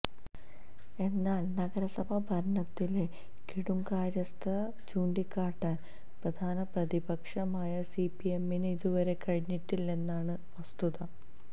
എന്നാല് നഗരസഭാ ഭരണത്തിലെ കെടുകാര്യസ്ഥത ചൂണ്ടിക്കാട്ടാന് പ്രധാന പ്രതിപക്ഷമായ സിപിഎമ്മിന് ഇതുവരെ കഴിഞ്ഞിട്ടില്ലെന്നതാണ് വസ്തുത